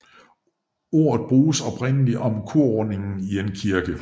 Ordet brugtes oprindelig om korrundingen i en kirke